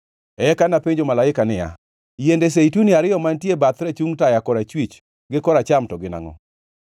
Eka napenjo malaika niya, “Yiende zeituni ariyo mantie bath rachung taya korachwich gi koracham, to gin angʼo?”